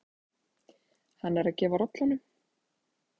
Hann er að gefa rollunum.